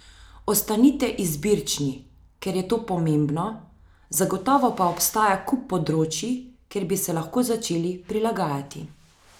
Ostanite izbirčni, kjer je to pomembno, zagotovo pa obstaja kup področij, kjer bi se lahko začeli prilagajati.